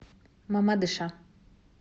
мамадыша